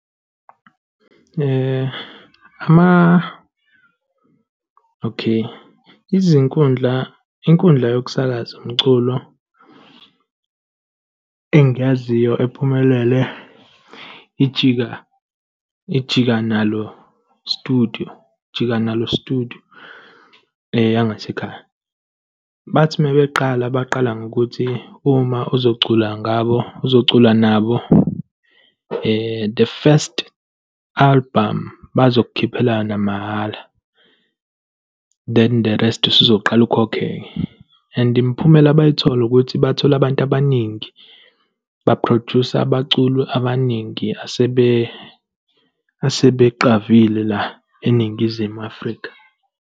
Okay, izinkundla, inkundla yokusakaza umculo engiyaziyo ephumelele iJika, iJika Nalo Studio, Jika Nalo Studio, eyangasekhaya. Bathi mebeqala, baqala ngokuthi uma uzocula ngabo, uzocula nabo, the first album bazongikhiphela yona mahhala, than the rest, usuzoqala ukhokhe-ke. And imiphumela abayithola ukuthi bathola abantu abaningi, baphrojusa abaculi abaningi asebeqavile la eNingizimu Afrika.